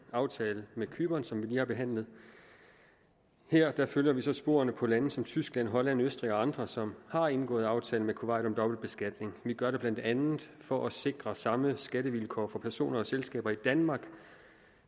aftalen med cypern som vi lige har behandlet her følger vi så i sporene på lande som tyskland holland østrig og andre som har indgået aftale med kuwait om dobbeltbeskatning vi gør det blandt andet for at sikre samme skattevilkår for personer og selskaber i danmark